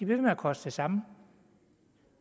ved med at koste det samme